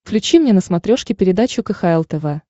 включи мне на смотрешке передачу кхл тв